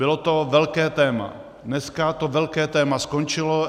Bylo to velké téma, dneska to velké téma skončilo.